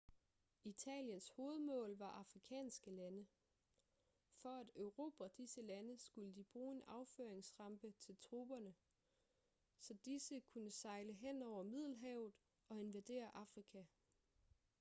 italiens hovedmål var afrikanske lande for at erobre disse lande skulle de bruge en affyringsrampe til tropperne så disse kunne sejle henover middelhavet og invadere afrika